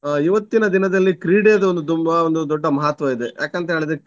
ಅಹ್ ಇವತ್ತಿನ ದಿನದಲ್ಲಿ ಕ್ರೀಡೆಯದೆ ಒಂದು ತುಂಬಾ ಒಂದು ದೊಡ್ಡ ಮಹತ್ವ ಇದೆ. ಯಾಕಂತೇಳಿದ್ರೆ.